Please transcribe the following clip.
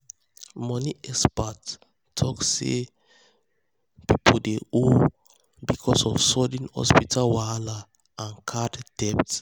money expert talk talk say people dey owe because of sudden hospital wahala and card debt.